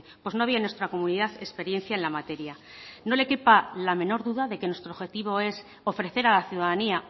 pues no había en nuestra comunidad experiencia en la materia no le quepa la menor duda de que nuestro objetivo es ofrecer a la ciudadanía